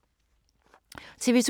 TV 2